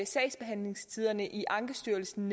sagsbehandlingstiderne i ankestyrelsen